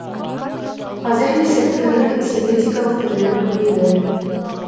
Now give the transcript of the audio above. қазір есірткінің синтетикалық түрлері көбейді